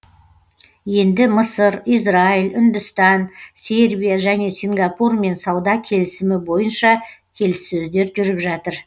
енді мысыр израиль үндістан сербия және сингапурмен сауда келісімі бойынша келіссөздер жүріп жатыр